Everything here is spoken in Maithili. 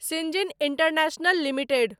सिन्जिन इन्टरनेशनल लिमिटेड